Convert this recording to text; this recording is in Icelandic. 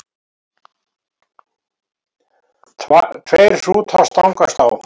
Tveir hrútar stangast á.